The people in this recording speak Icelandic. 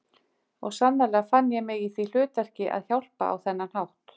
Og sannarlega fann ég mig í því hlutverki að hjálpa á þennan hátt.